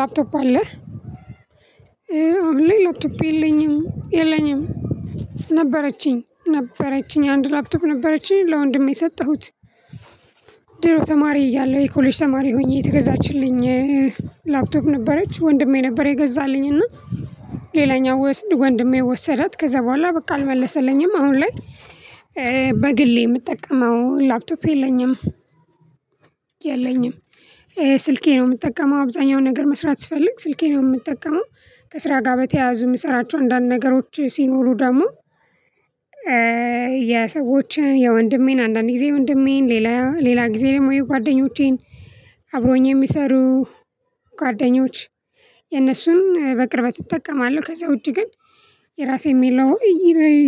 ላፕቶፕ አለህ አሁን ላይ ላፕቶፕ የለኝም የለኝም ነበረችኝ ነበረችኝ አንድ ላፕቶፕ ነበረችኝ ለወንድሜ ሰጠሁት። ድሮ ተማሪ እያለሁ የኮሌጅ ተማሪ ሆኜ የተገዛችልኝ። ላፕቶፕ ነበረች ወንድሜ ነበር የገዛልኝ እና ሌላኛው ወንድሜ ወሰዳት ከዛ በኋላ በቃ አልመለሰልኝም። አሁን ላይ በግሌ የምጠቀመው ላፕቶፕ የለኝም። የለኝም ስልኬ ነው የምጠቀመው አብዛኛው ነገር መስራት ስፈልግ ስልኬን ነው የምጠቀመው። ከስራ ጋር በተያያዙ የምሰራቸው አንዳንድ ነገሮች ሲኖሩ ደግሞ የሰዎችን የወንድሜን አንዳንድ ጊዜ የወንድሜን ሌላ ሌላ ጊዜ ደግሞ የጓደኞቼን አብሮኝ የሚሰሩ ጓደኞች የነሱን በቅርበት እጠቀማለሁ። ከዛ ውጪ ግን የራሴ የምለው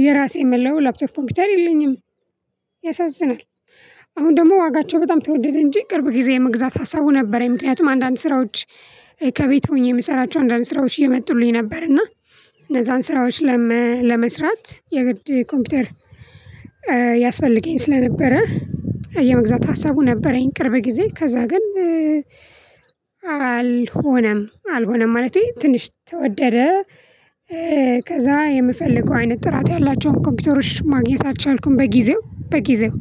የራሴ የምለው ላፕቶፕ ኮምፒውተር የለኝም። ያሳዝናል። አሁን ደግሞ ዋጋቸው በጣም ተወደደ እንጂ ቅርብ ጊዜ የመግዛት ሀሳቡ ነበረኝ። ምክንያቱም አንዳንድ ስራዎች ከቤት ሆኜ የምሰራቸው አንዳንድ ስራዎች እየመጡልኝ ነበር። እና እነዛን ስራዎች ለመስራት የግድ ኮምፒውተር ያስፈልገኝ ስለነበረ። የመግዛት ሀሳቡ ነበረኝ። ቅርብ ጊዜ ከዛ ግን አልሆነም አልሆነም ማለቴ ትንሽ ተወደደ። ከዛ የምፈልገው አይነት ጥራት ያላቸውን ኮምፒውተሮች ማግኘት አልቻልኩም። በጊዜው በጊዜው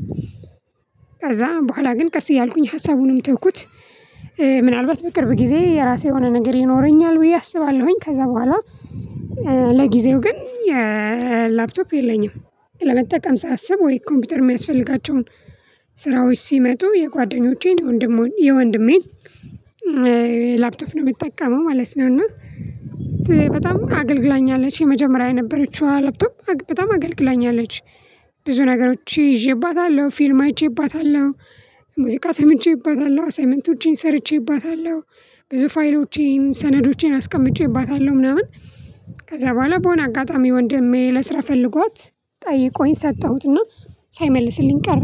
ከዛ በኋላ ግን ቀስ እያልኩኝ ሀሳቡንም ተውኩት። ምናልባት በቅርብ ጊዜ የራሴ የሆነ ነገር ይኖረኛል ብዬ አስባለሁኝ። ከዛ በኋላ ለጊዜው ግን የላፕቶፕ የለኝም። ለመጠቀም ሳስብ ወይ ኮምፒውተር የሚያስፈልጋቸውን ስራዎች ሲመጡ የጓደኞቼን የወንድም የወንድሜን ላፕቶፕ ነው የምጠቀመው ማለት ነው። እና በጣም አገልግላኛለች የመጀመሪያ የነበረችዋ ላፕቶፕ በጣም አገልግላኛለች። ብዙ ነገሮች ይዤባታለሁ ፊልም አይቼባታለሁ። ሙዚቃ ሰምቼባታለሁ አሳይመንቶቼን ሰርቼባታለሁ። ብዙ ፋይሎቼን ሰነዶቼን አስቀምጬባታለሁ ምናምን። ከዛ በኋላ በሆነ አጋጣሚ ወንድሜ ለስራ ፈልጓት ጠይቆኝ ሰጠሁትና ሳይመልስልኝ ቀረ።